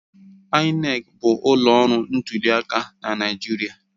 INEC bụ ụlọ ọrụ ntuliaka na Naịjirịa.